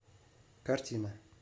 картина